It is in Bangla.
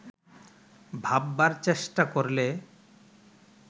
ভাববার চেষ্টা করলে